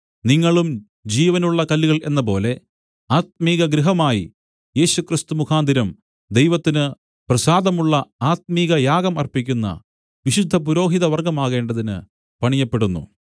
നിങ്ങളും ജീവനുള്ള കല്ലുകൾ എന്നപോലെ ആത്മികഗൃഹമായി യേശുക്രിസ്തു മുഖാന്തരം ദൈവത്തിന് പ്രസാദമുള്ള ആത്മികയാഗം അർപ്പിക്കുന്ന വിശുദ്ധ പുരോഹിതവർഗ്ഗമാകേണ്ടതിന് പണിയപ്പെടുന്നു